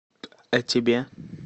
а тебе